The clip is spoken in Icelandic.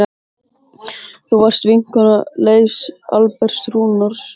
Þú varst vinkona Leifs Alberts Rúnarssonar.